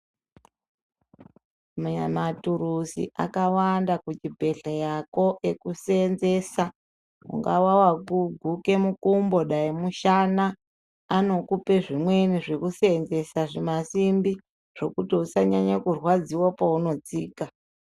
Muya maturuzi akawanda kuchibhedhleyako ekuseenzesa ungawe waguke mukumbo dai mushana anokupa zvimweni zvekuseenzesa zvisimbi zvekuti usanyanye kurwadziwa paunotsika.